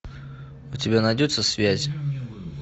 у тебя найдется связь